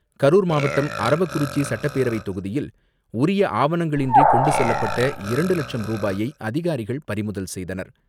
கரூர் மாவட்டம் அரவக்குறிச்சி சட்டப்பேரவை தொகுதியில் உரிய ஆவணங்களின்றி கொண்டு செல்லப்பட்ட இரண்டு லட்சம் ரூபாயை அதிகாரிகள் பறிமுதல் செய்தனர்.